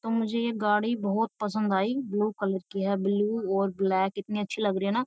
तो मुझे ये गाड़ी बहुत पसंद आई ब्लू कलर की है ब्लू और ब्लैक इतनी अच्छी लग रही है ना --